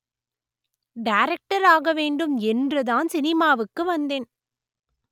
director ஆக வேண்டும் என்று தான் சினிமாவுக்கு வந்தேன்